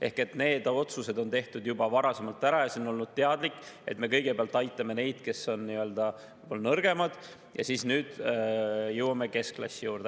Ehk need otsused on tehtud juba varasemalt ära ja see on olnud teadlik, et me kõigepealt aitame neid, kes on nii-öelda nõrgemad, ja siis jõuame keskklassi juurde.